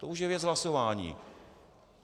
To už je věc hlasování.